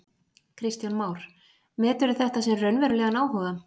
Kristján Már: Meturðu þetta sem raunverulegan áhuga?